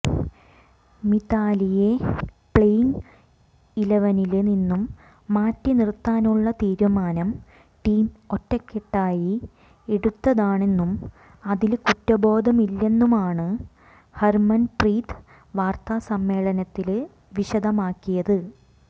മിതാലിയെ playing ഇലവനില് നിന്നും മാറ്റിനിര്ത്താനുള്ള തീരുമാനം ടീം ഒറ്റക്കെട്ടായി എടുത്തതാണെന്നും അതില് കുറ്റബോധമില്ലെന്നുമാണ് ഹര്മന്പ്രീത് വാര്ത്താസമ്മേളനത്തില് വിശദമാക്കിയത്